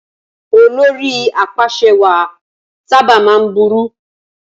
Olórí apàṣẹwàá sábà máa ń burú.